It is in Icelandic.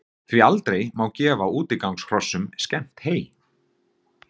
Því má aldrei gefa útigangshrossum skemmt hey.